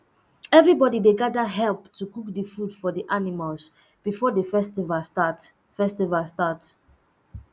everybody dey gather help to cook the food for the animals before the festival start festival start